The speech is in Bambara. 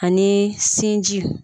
A ni sinji.